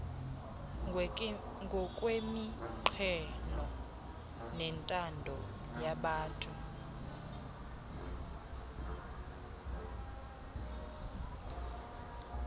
ngokweminqweno nentando yabatu